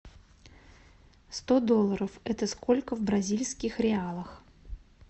сто долларов это сколько в бразильских реалах